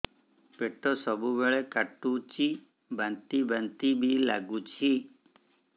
ପେଟ ସବୁବେଳେ କାଟୁଚି ବାନ୍ତି ବାନ୍ତି ବି ଲାଗୁଛି